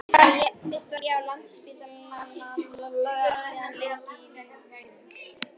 Fyrst var ég á Landspítalanum og síðan lengi á Vífilsstöðum.